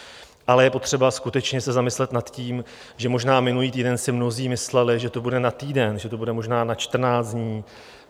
Ale je potřeba skutečně se zamyslet nad tím, že možná minulý týden si mnozí mysleli, že to bude na týden, že to bude možná na 14 dní.